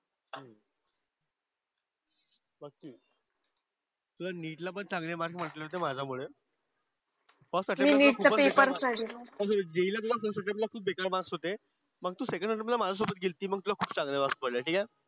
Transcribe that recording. तुला नीट ला पण चांगले मार्क्स पडले होते माझ्यामुळे पण JEE ला तुला फर्स्ट अटेम्प्टला तुला खूप बेकार मार्क्स होते. पण तू सेकंडला माझ्यासोबत गेलती मग तुला खूप चांगले मार्क्स पडले. ठीक आहे.